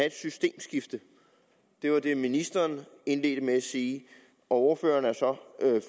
et systemskifte det var det ministeren indledte med at sige og ordføreren er så